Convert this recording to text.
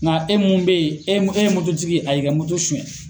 Nka e mun bɛ ye e ye e ye tigi ye a y'i ka suyɛn.